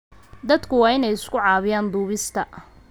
Dadku waa inay isku caawiyaan duubista.